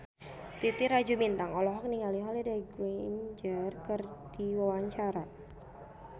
Titi Rajo Bintang olohok ningali Holliday Grainger keur diwawancara